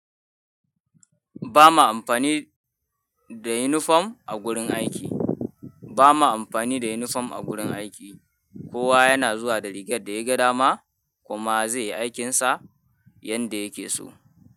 Ba ma amfani da unifom a gurin aiki. Ba ma amfani da yunifom a gurin aiki. Kowa yana zuwa da rigar da ya gada ma kuma zai yi aikinsa yanda yake so.